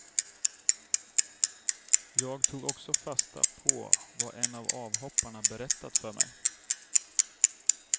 Jag tog också fasta på vad en av avhopparna berättat för mig.